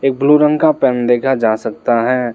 Blue रंग का pen देखा जा सकता हैं।